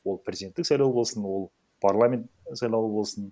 ол президенттік сайлауы болсын ол парламент сайлауы болсын